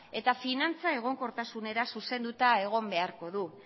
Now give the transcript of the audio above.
eta finantza egonkortasunera zuzenduta egon beharko du